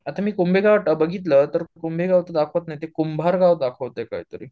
आता मी कुंभेगाव बघितलं तर कुंभे गाव तर दाखवत नाही ते, कुंभार गाव दाखवतय काहीतरी